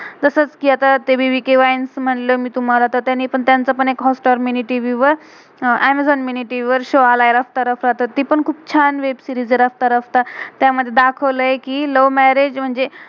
जसच कि आता ते बी-बी-के BBK वाइन्स wines म्हनलं मे तुम्हाला, तर त्यानी पण त्यांचं पण एक Hotstar hotstar mini TV mini-tv वर. Amazon amazon mini TV mini-tv वर शो show आलाय रफ्ता-रफ्ता. तर ती पण खुप छान वेब सीरीज web-series आहे रफ्ता रफ्ता. त्यामधे दाखवलय कि love love म्यारेज marriage म्हणजे